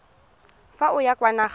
fa o ya kwa nageng